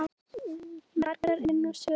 Margar eru nú sögurnar.